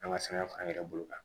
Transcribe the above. An ka sɛbɛn f'an yɛrɛ bolo kan